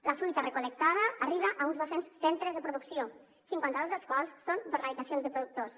la fruita recol·lectada arriba a uns dos cents centres de producció cinquanta dos dels quals són d’organitzacions de productors